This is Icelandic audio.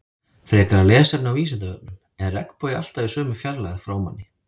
Frekara lesefni á Vísindavefnum: Er regnbogi alltaf í sömu fjarlægð frá manni?